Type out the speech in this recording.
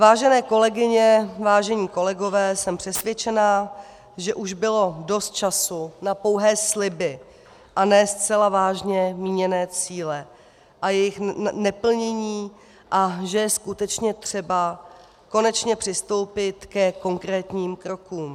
Vážené kolegyně, vážení kolegové, jsem přesvědčena, že už bylo dost času na pouhé sliby a ne zcela vážně míněné cíle a jejich neplnění a že je skutečně třeba konečně přistoupit ke konkrétním krokům.